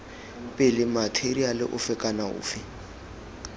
pele matheriale ofe kana ofe